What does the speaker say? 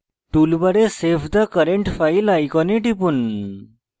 toolbar save the current file icon টিপুন